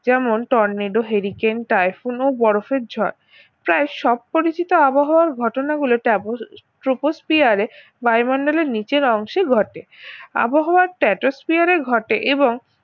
যেমন tornado hurricane typhoon ও বরফের ঝড় প্রায় সব পরিচিত আবহাওয়ার ঘটনা গুলো ট্যাপ~ ট্রপোস্ফিয়ার বায়ুমণ্ডলের নিচের অংশে ঘটে আবহাওয়ার ট্রপোস্ফিয়ারে ঘটে এবং